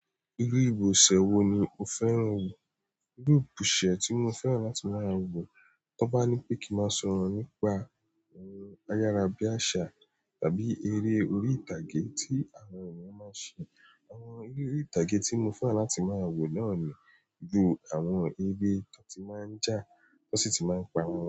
Irú ibùsẹ̀ wo ni o fẹ́ràn wò? Irú ibùsẹ̀ tí mo fẹ́ràn láti máa wò, tí wọ́n bá ní pé kí má sọ̀rọ̀ nípa àwọn ayára bí àsà tàbí eré orí ìtàgé tí àwọn ènìyàn máa ń ṣe. Àwọn eré orí ìtàgé tí mo fẹ́ràn láti máa wò náà ni ju àwọn eré tó ti máa ń jà tó sì ti máa ń pá wón.